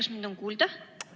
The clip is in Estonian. Kas mind on kuulda?